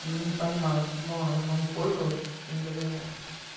не понимаю почему она не может пользоваться что-то не догоняю